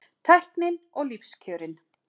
Tæknin og lífskjörin